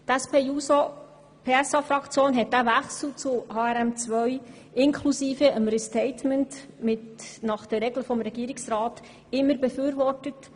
Die SP-JUSO-PSA-Fraktion hat den Wechsel zu HRM2 inklusive des Restatements nach den Regeln des Regierungsrats immer befürwortet.